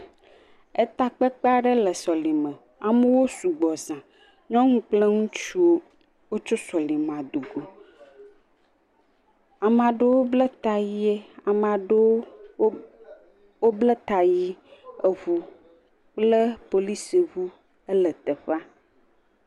Eta kpekpe aɖe le sɔlime. Amewo sugbɔ zã. Nyo kple ŋutsuwo tso sɔlime do go Ame aɖewo bla ta ɣi eye eʋu kple polisi ʋuwo le teƒea.